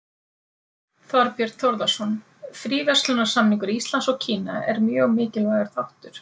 Þorbjörn Þórðarson: Fríverslunarsamningur Íslands og Kína er mjög mikilvægur þáttur?